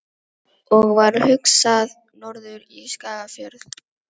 Og varð hugsað norður í Skagafjörð.